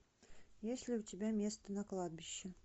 есть ли у тебя место на кладбище